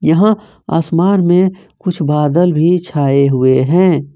यहां आसमान में कुछ बादल भी छाए हुए है।